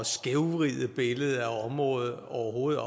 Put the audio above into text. skævvride billedet af området overhovedet